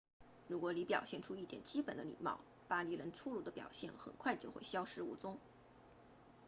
如果你表现出一点基本的礼貌巴黎人粗鲁的表现很快就会消失无踪